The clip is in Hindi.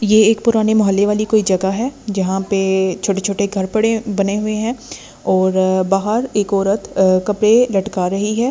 ये एक पुराने मोहल्ले वाली कोई जगह है जहां पे छोटे-छोटे घर पड़े बने हुए हैं और बाहर एक औरत कपड़े लटका रही है।